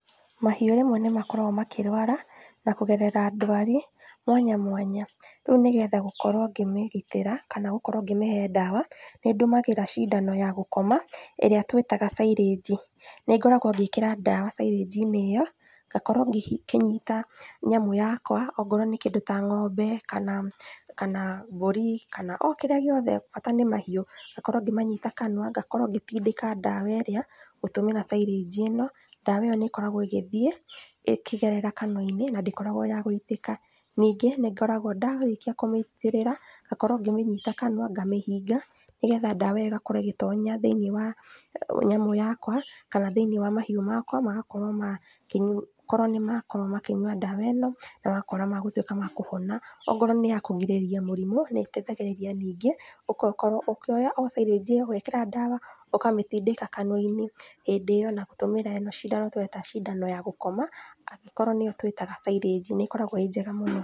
Mahiũ rĩmwe nĩmakoragwo makĩrwara, nakũgerera ndwari, mwanya mwanya, rĩu nĩgetha gũkorwo ngĩmĩgitĩra, kana gũkorwo ngĩmĩhe ndawa, nĩndũmagĩra cindano ya gũkoma, ĩrĩa twĩtaga cairĩnji, nĩngoragwo ngĩkĩra ndawa cairĩnji-inĩ ĩyo, ngakorwo ngĩ kĩnyita nyamũ yakwa, okorwo nĩ kĩndũ ta ng'ombe kana, kana mbũri, kana okĩrĩa gĩothe, bata nĩ mahiũ, ngakorwo ngĩmanyita kanua, ngakorwo ngĩtindĩka ndawa ĩrĩa, gũtũmĩra cairĩnji-ĩno, ndawa ĩyo nĩkoragwo ĩgĩthiĩ, ĩkĩgerera kanua-inĩ na ndĩkoragwo ya gũitĩka, ningĩ, nĩngoragwo ndarĩkia kũmĩitĩrĩra, ngakorwo ngĩmĩnyita kanua, ngamĩhinga, nĩgetha ndawa ĩgakorwo ĩgĩtonya thĩiniĩ wa nyamũ yakwa, kana thĩiniĩ wa mahiũ makwa, magakorwo ma, kĩnyu korwo nĩmarakorwo makĩnyua ndawa ĩno, nogakora magatwĩka ma kũhona, okorwo nĩyakũgirĩrĩria mũrimũ, nĩteithagĩrĩria ningĩ okokorwo ũkĩoya o cairĩnji ĩyo rĩ, ũgekĩra ndawa, ũkamĩtindĩka kanua-inĩ, hĩndĩ ĩyo na gũtũmĩra ĩno cindano tũreta cindano ya gũkoma, angĩkorwo nĩyo twĩtaga cairĩnji nĩkoragwo ĩ njega mũno.